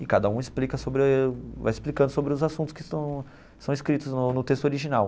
E cada um explica sobre vai explicando sobre os assuntos que são são escritos no no texto original.